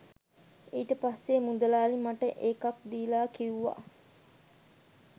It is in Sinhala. ඊට පස්සේ මුදලාලි මට එකක් දීලා කිව්වා